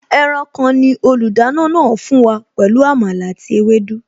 Ẹran kan ni olùdáná náà fún wa pẹ̀lú Àmàlà àti ewédú